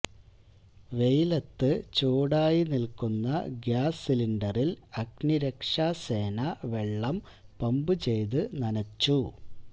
വെയിലത്ത് ചൂടായി നില്ക്കുന്ന ഗ്യാസ് സിലിന്ഡറില് അഗ്നിരക്ഷാസേന വെള്ളം പമ്പുചെയ്ത് നനച്ചു